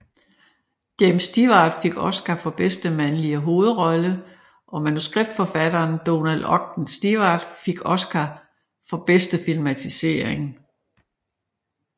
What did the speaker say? James Stewart fik Oscar for bedste mandlige hovedrolle og manuskriptforfatteren Donald Ogden Stewart fik Oscar for bedste filmatisering